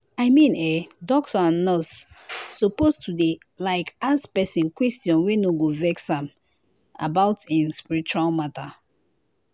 i mean eh doctor and nurse suppose to dey like ask pesin question wey no go vex am about em spiritual matter.